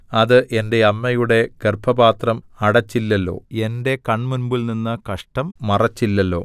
അത് എന്റെ അമ്മയുടെ ഗർഭപാത്രം അടച്ചില്ലല്ലോ എന്റെ കണ്മുമ്പിൽ നിന്ന് കഷ്ടം മറച്ചില്ലല്ലോ